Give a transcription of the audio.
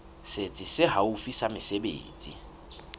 setsi se haufi sa mesebetsi